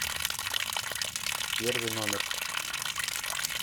первый номер